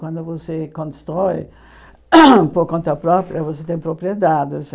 Quando você constrói por conta própria, você tem propriedades.